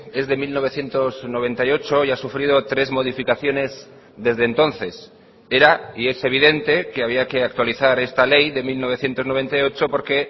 es de mil novecientos noventa y ocho y ha sufrido tres modificaciones desde entonces era y es evidente que había que actualizar esta ley de mil novecientos noventa y ocho porque